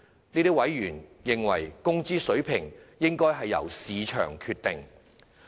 這些委員認為工資水平應由市場決定。